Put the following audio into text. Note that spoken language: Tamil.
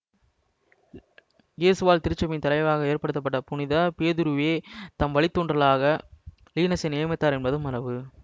இயேசுவால் திருச்சபையின் தலைவராக ஏற்படுத்தப்பட்ட புனித பேதுருவே தம் வழித்தோன்றலாக லீனஸை நியமித்தார் என்பது மரபு